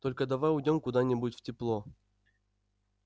только давай уйдём куда-нибудь в тепло